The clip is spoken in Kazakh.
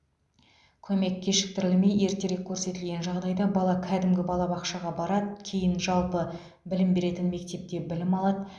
көмек кешіктірілмей ертерек көрсетілген жағдайда бала кәдімгі балабақшаға барады кейін жалпы білім беретін мектепте білім алады